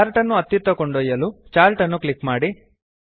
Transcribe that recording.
chart ಅನ್ನು ಅತ್ತಿತ್ತ ಕೊಂಡೊಯ್ಯಲು ಚಾರ್ಟ್ ಅನ್ನು ಕ್ಲಿಕ್ ಮಾಡಿ